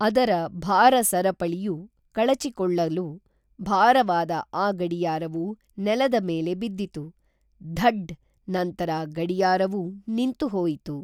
ಅದರ ಭಾರ-ಸರಪಳಿಯು ಕಳಚಿಕ್ಕೊಳ್ಳಲು, ಭಾರವಾದ ಆ ಗಡಿಯಾರವು ನೆಲದ ಮೇಲೆ ಬಿದ್ದಿತು, ದಢ್! ನಂತರ ಗಡಿಯಾರವೂ ನಿಂತು ಹೋಯಿತು.